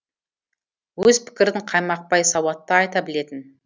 өз пікірін қаймақпай сауатты айта білетін